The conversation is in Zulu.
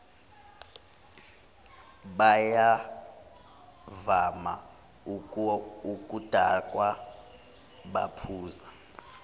bayavama ukudakwa baphuza